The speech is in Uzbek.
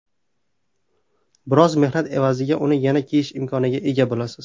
Biroz mehnat evaziga uni yana kiyish imkoniga ega bo‘lasiz.